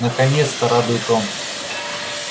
наконец-то радует он